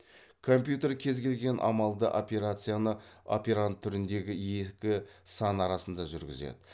компьютер кез келген амалды операцияны операнд түріндегі екі сан арасында жүргізеді